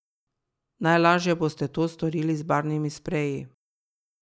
Najlaže boste to storili z barvnimi spreji.